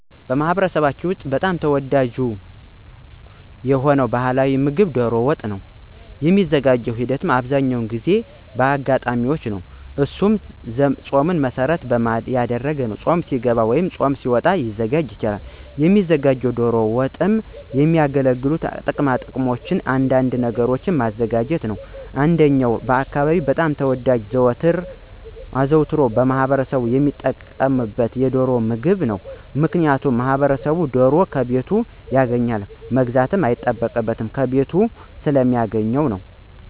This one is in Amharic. በማኅበረሰባችን ውስጥ በጣም ተወዳጅ የሆነው ባሕላዊ ምግብ ዶሮ ወጥ በጣም ተወዳጅ ነው። የሚዘጋጅበትን ሂደት እናበአብዛኛው የሚዘጋጅባቸው በአጋጣሚዎች ነው እነሱም ፆምን መሰረት በማድረግ ነው ወይ ፆም ሊገባ ሲልና ፆም ሲያበቃ የሚዘወተረው በእነዚህ አጋጣሚዎች ነው። የሚዘጋጀውም ዶሮና ለዶሮ መስሪያ የሚያገለግሉ ቅማቅመሞችንና አንዳንድ ነገሮችን ማዘጋጀት ነው። እንደኛ አካባቢ በጣም ተወዳጅና አዘውትሮ ማህበረሰቡ ሚጠቀምበት የዶሮን ምግብ ነው። ምክንያቱም ማህበረሰቡ ዶሮን ከቤቱ ያገኛል መግዛትም አይጠበቅበትም ከቤቱ ስለሚያገኛት ነው።